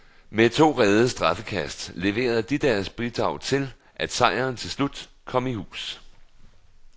Med to reddede straffekast leverede de deres bidrag til, at sejren til slut kom i hus.